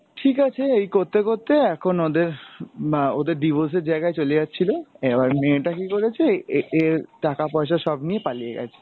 ঠিক আছে এই করতে করতে এখন ওদের, ম্যা ওদের divorce এর জায়গায় চলে যাচ্ছিলো এবার মেয়েটা কী করেছে এ~এর টাকা পয়সা সব নিয়ে পালিয়ে গেছে।